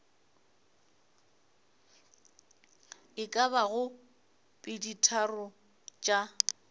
e ka bago peditharong tša